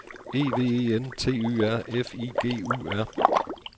E V E N T Y R F I G U R